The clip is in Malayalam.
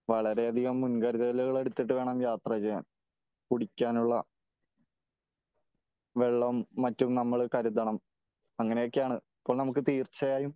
വളരെ അധികം മുൻകരുതലുകള് എടുത്തിട്ട് വേണം യാത്ര ചെയ്യാൻ. കുടിക്കാനുള്ള വെള്ളവും മറ്റും നമ്മള് കരുതണം . അങ്ങനെയൊക്കെയാണ് . അപ്പോ നമ്മൾ തീർച്ചയായും